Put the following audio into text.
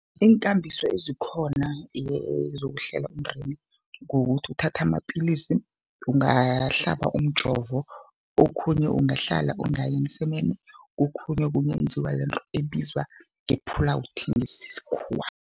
Iinkambiso ezikhona zokuhlela umndeni, kukuthi uthatha amapilisi, ungahlaba umjovo okhunye ungahlala ungayi emsemeni, kokhunye kungenziwa lento ebizwa nge-pull out ngesikhuwa.